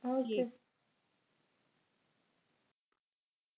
ਹੋਗੀਏ